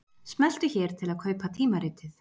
Smelltu hér til að kaupa tímaritið